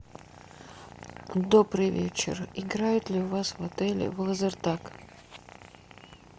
добрый вечер играют ли у вас в отеле в лазертаг